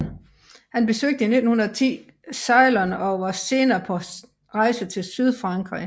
Han besøgte i 1910 Ceylon og var senere på rejser til Sydfrankrig